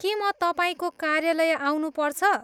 के म तपाईँको कार्यालय आउनुपर्छ?